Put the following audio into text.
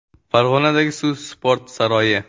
Farg‘onadagi Suv sport saroyi.